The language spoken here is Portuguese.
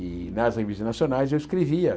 E nas revistas nacionais eu escrevia.